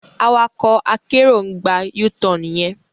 Awakọ akero ń gbà U-Tan yen